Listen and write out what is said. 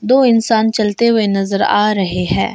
दो इंसान चलते हुए नजर आ रहे है।